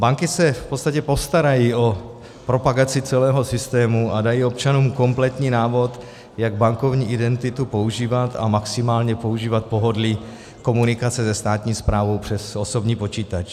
Banky se v podstatě postarají o propagaci celého systému a dají občanům kompletní návod, jak bankovní identitu používat a maximálně používat pohodlí komunikace se státní správou přes osobní počítač.